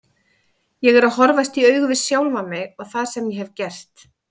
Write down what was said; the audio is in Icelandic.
Ég er að horfast í augu við sjálfan mig og það sem ég hef gert.